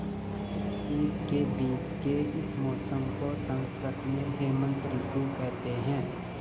शीत के बीच के इस मौसम को संस्कृत में हेमंत ॠतु कहते हैं